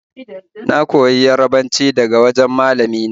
Na koyi Yarabanci daga wajen malami na